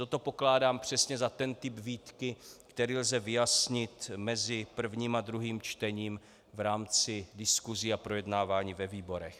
Toto pokládám přesně za ten typ výtky, který lze vyjasnit mezi prvním a druhým čtením v rámci diskusí a projednávání ve výborech.